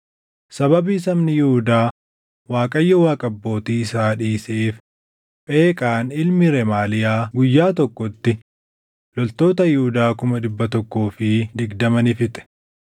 Sababii sabni Yihuudaa Waaqayyo Waaqa abbootii isaa dhiiseef Pheqaan ilmi Remaaliyaa guyyaa tokkotti loltoota Yihuudaa kuma dhibba tokkoo fi digdama ni fixe.